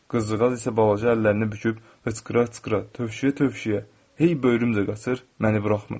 Qızcığaz isə balaca əllərini büküb hıçqıra-hıçqıra, tövşüyə-tövşüyə hey böyrümlə qaçır, məni buraxmırdı.